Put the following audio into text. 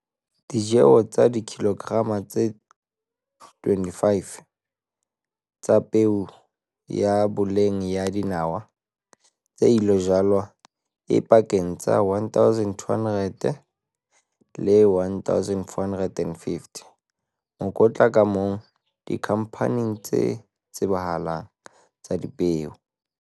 Ditjeho tsa dikilograma tse 25 tsa peo ya boleng ya dinawa tse ilo jalwa e pakeng tsa R1 200 le R1 450 mokotla ka mong dikhamphaneng tse tsebahalang tsa dipeo.